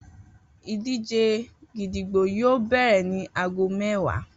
Idije gídígbò yoo bẹrẹ ni aago mẹwa.